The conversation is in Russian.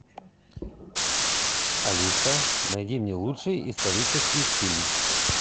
алиса найди мне лучший исторический фильм